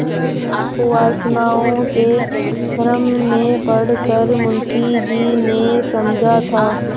कुवासनाओं के भ्रम में पड़ कर मुंशी जी ने समझा था